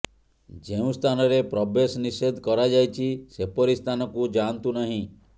ଯେଉଁ ସ୍ଥାନରେ ପ୍ରବେଶ ନିଷେଧ କରାଯାଇଛି ସେପରି ସ୍ଥାନକୁ ଯାଆନ୍ତୁ ନାହିଁ